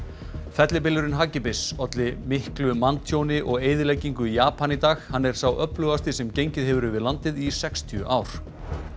fellibylurinn hagi bis olli manntjóni og mikilli eyðileggingu í Japan í dag hann er sá öflugasti sem gengið hefur yfir landið í sextíu ár